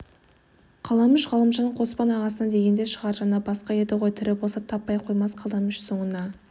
қаламүш ғалымжан қоспан ағасына дегенде шығар жаны басқа еді ғой тірі болса таппай қоймас қаламүш соңына